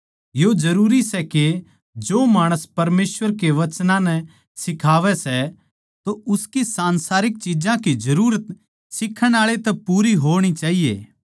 यो जरूरी सै के जो माणस परमेसवर के वचनां नै सिखावै सै तो उसकी संसारिक चिज्जां की जरूरत सिखाण आळै तै पूरी हो होणी चाहिए